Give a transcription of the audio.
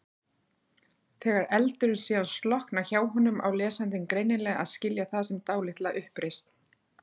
Þegar eldurinn síðan slokknar hjá honum á lesandinn greinilega að skilja það sem dálitla uppreisn.